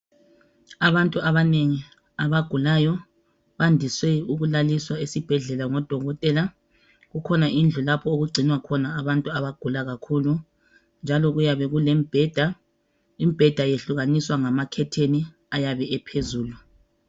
Abantu abanengi abagulayo bandise ukulaliswa esibhedlela ngodokotela. Kukhona indlu lapho okugcinwa khona abantu abagula kakhulu njalo kuyabe kulemibheda. Imibheda yehlukaniswa ngamakhetheni ayabe ephezulu.